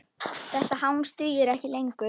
Þetta hangs dugir ekki lengur.